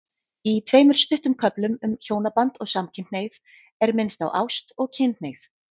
Í tveimur stuttum köflum um hjónaband og samkynhneigð er minnst á ást og kynhneigð.